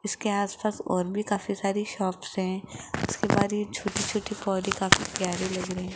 इसके आसपास और भी काफी सारी शॉप्स हैं उसके बाद ये छोटी छोटी पौधे काफी प्यारी लग रहे--